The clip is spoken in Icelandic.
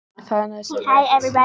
Það er nauðsynlegt